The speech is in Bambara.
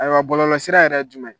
Ayiwa bɔlɔlɔ sira yɛrɛ jumɛn ye ?